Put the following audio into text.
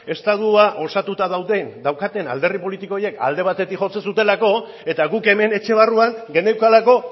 estatua osatuta daukaten alderdi politiko horiek alde batetik jotzen zutelako eta guk hemen etxe barruan geneukalako